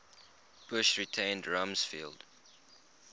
bush retained rumsfeld